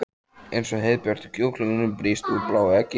Eins og heiðbjartur kjúklingur sem brýst úr bláu eggi.